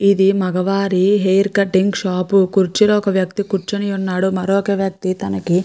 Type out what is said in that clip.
ఇది మగవారి hair cutting shop కుర్చీలో ఒక వ్యక్తి కూర్చుని ఉన్నాడు. మరొక వ్యక్తి --